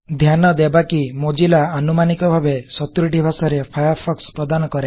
ଧ୍ୟାନ ଦେବା କି ମୋଜ଼ିଲ୍ଲା ଆନୁମାନିକ ଭାବେ ସତୁରୀଟି ଭାଷାରେ ଫାୟାରଫୋକ୍ସ ପ୍ରଦାନ କରେ